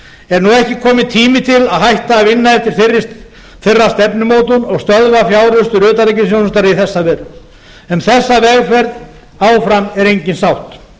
er nú ekki kominn tími til að hætta að vinna eftir þeirra stefnumótun og stöðva fjáraustur utanríkisþjónustunnar í þessa veru um þessa vegferð áfram er engin sátt